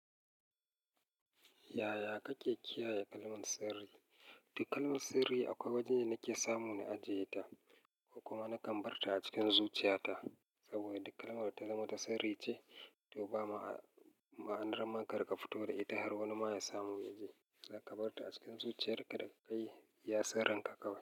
Yaya kake kiyaye kalman sirri? Duk kalman sirri akwai wajen da nake samu na ajiye ta, ko kuma na kan bar ta a cikin zuciya ta. Saboda duk kalmar ta zama ta sirri ce, to ba ma'anar ma karika fito da ita har wani ma ya samu ya ji. Kaga ka bar ta a cikin zuciyar ka da ka yi iya kan sirrin ka kawai.